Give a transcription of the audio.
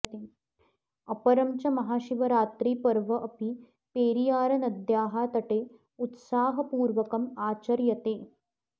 अपरं च महाशिवरात्रिपर्व अपि पेरियारनद्याः तटे उत्साहपूर्वकम् आचर्यते